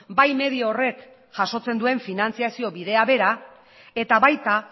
bai medio horrek jasotzen duen finantziazio bidea bera eta baita